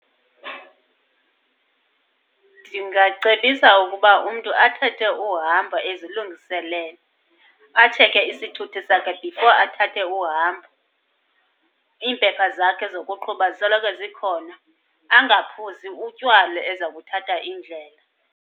Ndingacebisa ukuba umntu athathe uhambo ezilungiselele. Atshekhe isithuthi sakhe before athathe uhambo, iimpepha zakhe zokuqhuba zisoloko zikhona, angaphuzi utywala eza kuthatha indlela.